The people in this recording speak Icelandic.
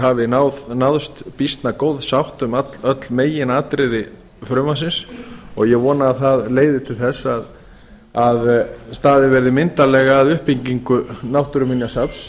hafi náðst býsna góð sátt um öll meginatriði frumvarpsins og ég vona að það leiði til þess að staðið verði myndarlega að uppbyggingu náttúruminjasafns